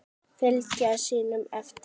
Fylgja sínum eftir.